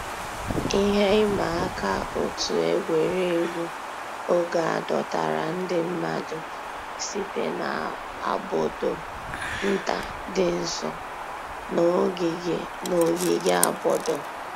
Íhè ị̀mà àkà ọ̀tù ègwè́régwụ̀ ògè à dọ̀tárà ńdí mmàdụ̀ sị̀tè n'àbọ̀dò̀ ńtà dì́ ǹsọ̀ nà ògìgè àbọ̀dò̀.